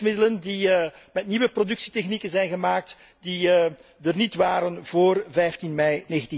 Voedingsmiddelen die met nieuwe productietechnieken zijn gemaakt en die er niet waren voor 15 mei